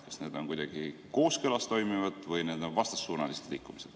Kas need on kuidagi kooskõlas toimivad või need on vastassuunalised liikumised?